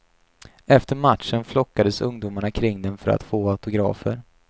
Efter matchen flockades ungdomarna kring dem för att få autografer.